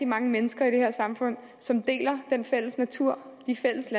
mange mennesker i det her samfund som deler den fælles natur de fælles